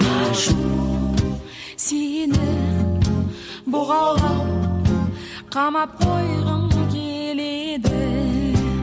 ашу сені бұғаулап қамап қойғым келеді